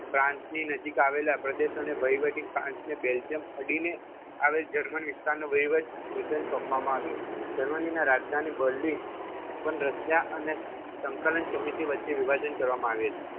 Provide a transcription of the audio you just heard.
France નજીક આવેલા પ્રદેશો અને વહીવટ ફ્રાન્સ બેલ્જિયમ અડીને આવેલા જર્મન વિસ્તાર વહીવટ બ્રિટન સોંપવામાં આવ્યો જર્મની રાજધાની બર્લિન પણ રશિયા અને સંકલન સમિતિ વચ્ચે વિભાજન કરવામાં આવી હતી